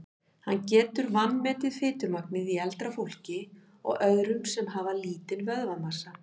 Hann getur vanmetið fitumagnið í eldra fólki og öðrum sem hafa lítinn vöðvamassa.